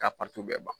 K'a bɛɛ ban